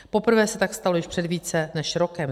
Poprvé se tak stalo již před více než rokem.